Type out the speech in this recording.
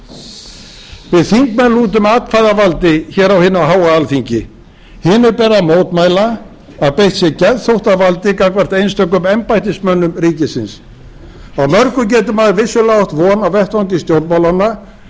góðu við þingmenn lútum atkvæðavaldi hér á hinu háa alþingi hinu ber að mótmæla að beitt sé geðþóttavaldi gagnvart einstökum embættismönnum ríkisins á mörgu getur maður vissulega átt von á vettvangi stjórnmálanna en